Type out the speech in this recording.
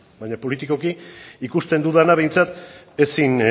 baina politikoki ikusten dudana behintzat ezin